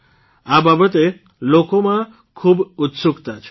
આ બાબતે લોકોમાં ખૂબ ઉત્સુકતા છે